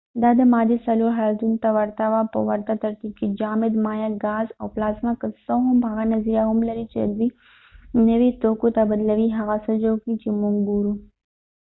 دا د مادې څلور حالتونو ته ورته وه په ورته ترتیب کې: جامد، مایع، ګاز، او پلازما، که څه هم هغه نظریه هم لري چې دوی نوي توکو ته بدلوي هغه څه جوړ کړئ چې موږ ګورو